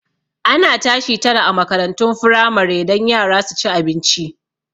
Ana tashi tara a makarantun firamare don yara su ci abinci